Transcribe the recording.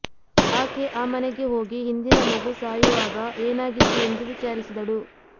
ಆಕೆ ಆ ಮನೆಗೆ ಹೋಗಿ ಹಿಂದಿನ ಮಗು ಸಾಯುವಾಗ ಏನಾಗಿತ್ತು ಎಂದು ವಿಚಾರಿಸಿದಳು